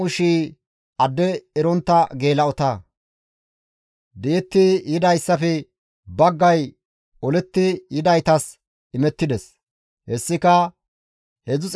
Di7etti yidayssafe baggay oletti yidaytas imettides; hessika 337,500 dorsata.